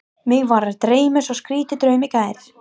Mig var að dreyma svo skrýtinn draum í gær.